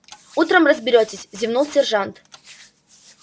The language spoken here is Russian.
утром разберётесь зевнул сержант